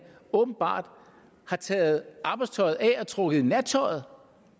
åbenbart har taget arbejdstøjet af og er trukket i nattøjet